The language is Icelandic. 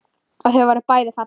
Og þau voru bæði falleg.